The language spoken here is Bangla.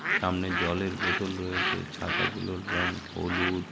সামনে জলের বোতল রয়েছে। ছাতা গুলোর রঙ হলুদ--